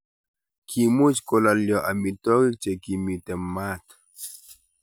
kimuch kolalyo amitwogik che kimito maat